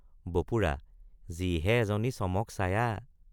বপুৰা—যিহে এজনী চমক ছায়া।